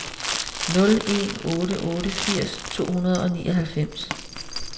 nul en otte otte firs to hundrede og nioghalvfems